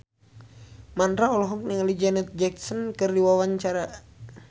Mandra olohok ningali Janet Jackson keur diwawancara